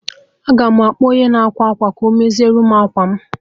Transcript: Aga m akpọ onye na-ákwà akwa ka ọ mezierem akwa mụ